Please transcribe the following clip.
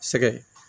Sɛgɛn